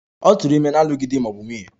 Ọ tụụrụ ime n'alụghị di ma ọ bụ nwunye.